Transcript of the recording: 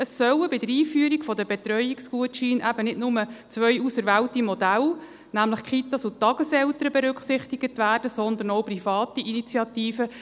Es sollen bei der Einführung der Betreuungsgutscheine eben nicht nur zwei auserwählte Modelle, nämlich die Kitas und die Tageseltern, berücksichtigt werden, sondern auch private Initiativen.